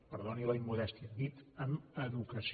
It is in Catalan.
perdoni la immodèstia dit amb educació